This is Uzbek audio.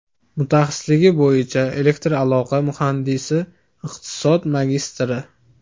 Mutaxassisligi bo‘yicha elektraloqa muhandisi, iqtisod magistri.